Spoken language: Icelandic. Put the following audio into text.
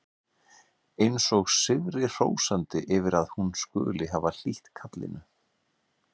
Eins og sigri hrósandi yfir að hún skuli hafa hlýtt kallinu.